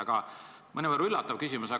Aga nüüd ehk mõnevõrra üllatav küsimus.